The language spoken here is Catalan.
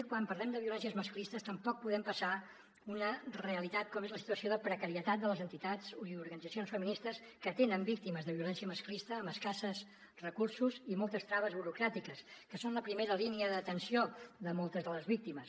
quan parlem de violències masclistes tampoc podem passar d’una realitat com és la situació de precarietat de les entitats i organitzacions feministes que atenen víctimes de violència masclista amb escassos recursos i moltes traves burocràtiques que són la primera línia d’atenció de moltes de les víctimes